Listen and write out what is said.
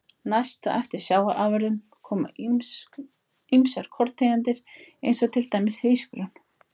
Næst á eftir sjávarafurðum koma ýmsar korntegundir eins og til dæmis hrísgrjón.